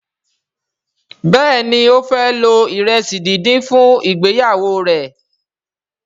Béèni o fẹ lo iresi dín dín fún ìgbéyàwó rẹ.